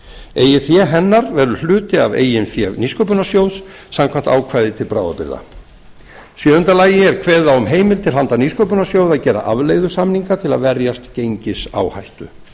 eigið fé hennar verður hluti af eigin fé nýsköpunarsjóðs samkvæmt ákvæði til bráðabirgða í sjöunda lagi er kveðið á um heimild til handa nýsköpunarsjóði að gera afleiðusamninga til að verjast gengisáhættu